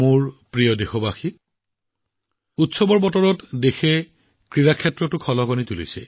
মোৰ মৰমৰ দেশবাসী এই উৎসৱৰ বতৰত দেশৰ খেলুৱৈসকলে ক্ৰীড়াৰ পতাকাও উৰুৱাইছে